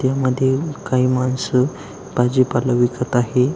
त्या मधील काही मानस भाजी पाला विकत आहे.